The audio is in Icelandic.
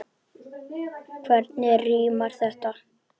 Hvernig rímar þetta?